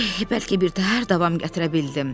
Eh, bəlkə birtəhər davam gətirə bildim.